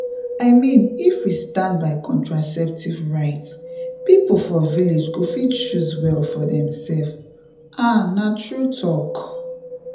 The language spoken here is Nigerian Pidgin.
i mean if we stand by contraceptive rights people for village go fit choose well for themselves — ah na true talk.